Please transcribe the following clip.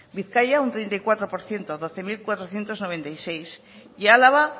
bizkaia un treinta y cuatro por ciento doce mil cuatrocientos noventa y seis y álava